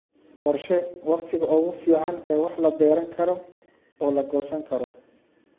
Qorshee wakhtiga ugu fiican ee wax la beeran karo oo la goosan karo.